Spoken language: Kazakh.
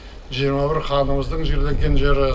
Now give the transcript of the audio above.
жиырма бір ханымыздың жерленген жері